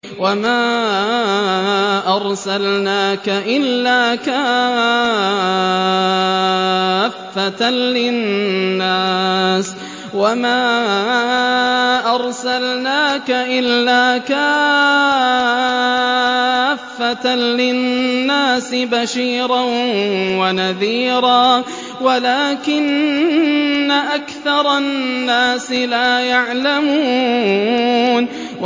وَمَا أَرْسَلْنَاكَ إِلَّا كَافَّةً لِّلنَّاسِ بَشِيرًا وَنَذِيرًا وَلَٰكِنَّ أَكْثَرَ النَّاسِ لَا يَعْلَمُونَ